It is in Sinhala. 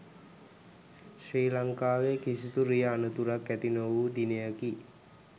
ශ්‍රී ලංකාවේ කිසිදු රිය අනතුරක් ඇති නොවූ දිනයකි